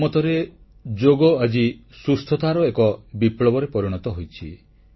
ମୋ ମତରେ ଯୋଗ ଆଜି ସୁସ୍ଥତାର ଏକ ବିପ୍ଳବରେ ପରିଣତ ହୋଇଛି